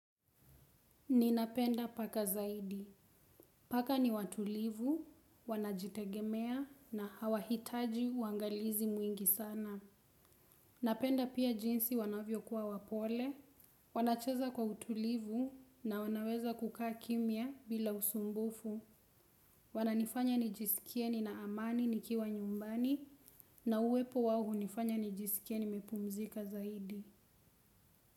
Ninapenda paka zaidi. Paka ni watulivu, wanajitegemea na hawahitaji uangalizi mwingi sana. Napenda pia jinsi wanavyo kuwa wapole. Wanacheza kwa utulivu na wanaweza kukaa kimya bila usumbufu. Wananifanya nijisikie nina amani nikiwa nyumbani na uwepo wao hunifanya nijisikie nimepumzika zaidi.